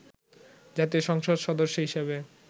জাতীয় সংসদ সদস্য হিসেবে